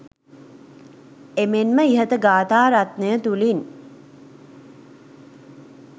එමෙන්ම ඉහත ගාථා රත්නය තුළින්